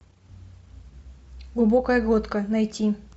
глубокая глотка найти